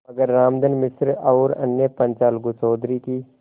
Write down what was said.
मगर रामधन मिश्र और अन्य पंच अलगू चौधरी की